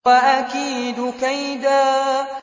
وَأَكِيدُ كَيْدًا